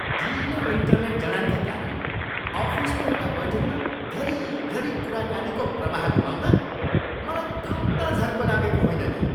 ढिलो इन्टरनेट जडानका कारण अफिसको एउटा बैठकमा घरी घरी कुराकानीको प्रवाह गुमाउँदा मलाई कम ता झर्को लागेको होइन नि।